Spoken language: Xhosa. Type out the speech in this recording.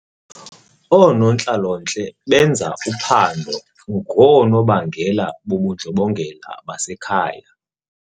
Oonontlalontle benza uphando ngoonobangela bobundlobongela basekhaya.